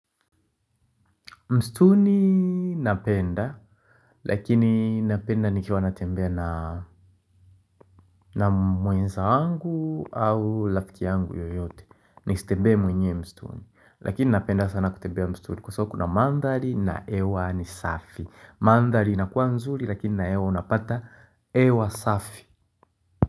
Msituni napenda, lakini napenda nikiwa natembea na mwenzangu au rafiki yangu yoyote. Nisitembee mwenyewe msituni, lakini napenda sana kutembea msituni kwa sababu kuna mandhari na hewa ni safi. Mandhari inakuwa nzuri lakini na hewa unapata hewa safi.